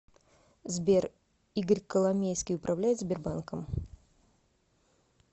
сбер игорь коломейский управляет сбербанком